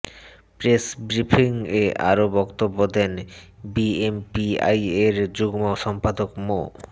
press ব্রিফিংয়ে আরও বক্তব্য দেন বিএমপিআইএর যুগ্ম সম্পাদক মো